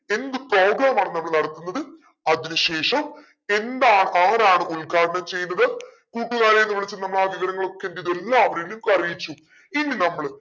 എന്ത് program ആണ് നമ്മൾ നടത്തുന്നത് അതിന് ശേഷം എന്താണ് ആരാണ് ഉത്ഘാടനം ചെയ്യുന്നത് കൂട്ടുകാരെന്ന് വിളിച്ചു നമ്മളാ വിവരങ്ങളൊക്കെ എന്തെയ്തു എല്ലാവരെയും ഒക്കറിയിച്ചു